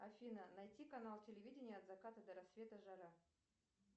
афина найти канал телевидения от заката до рассвета жара